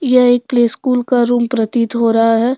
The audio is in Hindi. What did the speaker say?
यह एक प्ले स्कूल का रूम प्रतीत हो रहा है।